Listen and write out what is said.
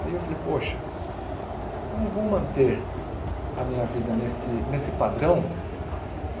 Aí eu falei, poxa, então eu vou manter a minha vida nesse nesse padrão?